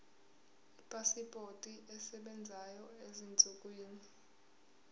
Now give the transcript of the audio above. ipasipoti esebenzayo ezinsukwini